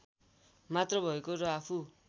मात्र भएको र आफू